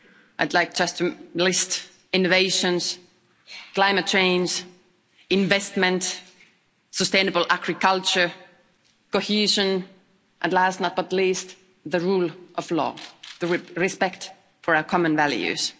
I'd like just to list innovations, climate change, investment, sustainable agriculture, cohesion and last, but not least, the rule of law and respect for our common values.